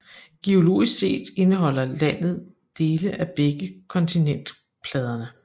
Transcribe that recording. Geologisk set indeholder landet dele af begge kontinentalpladerne